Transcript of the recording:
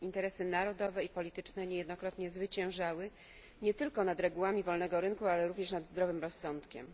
Interesy narodowe i polityczne niejednokrotnie zwyciężały nie tylko nad regułami wolnego rynku, ale również nad zdrowym rozsądkiem.